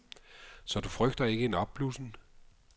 Så du frygter ikke en opblussen?